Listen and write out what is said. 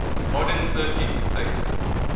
modern turkic states